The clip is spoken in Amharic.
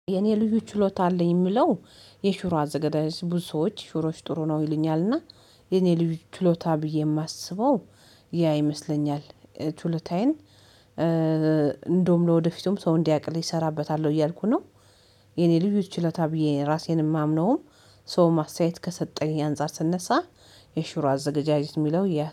የኔ ልዩ ችሎታ አለኝ የምለው የሽሮ አዘገጃጀት ብዙ ሰዎች ሽሮች ጥሩ ነው ይለኛልና የኔ ልዩ ችሎታ ብዬ የማስበው ያ ይመስለኛል። ችሎታዬን እንደውም ለወደፊቱም ሰው እንዲያቅልኝ እሰራበታለሁ እያልኩ ነው። የኔ ልዩት ችለታ ብዬ ራሴን የማምነውም ሰው ማስተያየት ከሰጠኝ አንፃር ስነሳ የሽሮ አዘገጃጀት የሚለው ያ